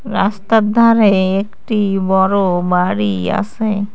রাস্তার ধারে একটি বড় বাড়ি আসে।